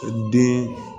Den